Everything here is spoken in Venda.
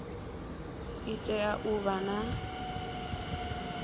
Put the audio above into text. i tea u vha na